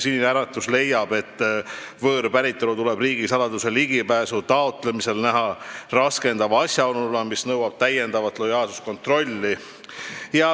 Sinine Äratus leiab, et võõrpäritolu tuleb riigisaladusele ligipääsu taotlemisel näha raskendava asjaoluna, mis nõuab täiendavat lojaalsuskontrolli.